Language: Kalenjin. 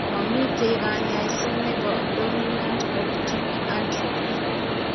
Mamiten kaany'ayso ne po dominant optic atrophy .